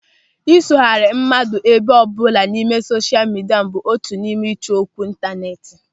Ịsogharị mmadụ ebe ọbụla n'ime sosha midia bụ otu n'ime ịchọ okwu ịntanetị.